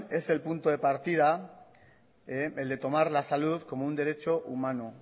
es el punto de partida el de tomar la salud como un derecho humano